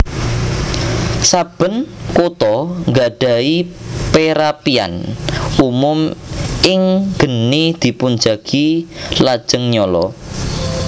Saben kota ngadahi perapian umum in geni dipunjagi lajeng nyala